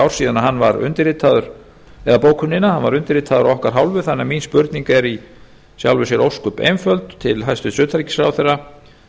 síðan hann var undirritaður eða bókunina hann var undirritaður af okkar hálfu þannig að mín spurning er í sjálfu sér ósköp einföld til hæstvirts utanríkisráðherra